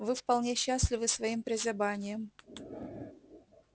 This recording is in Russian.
вы вполне счастливы своим прозябанием